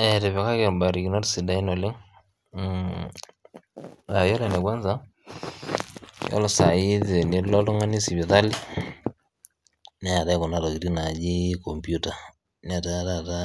Etipikaki ebarikinot sidain oleng, iyolo ne kwansa iyolo saii tenilo oltungani sipitali neatai kuna tokitin naajii computer netaa taata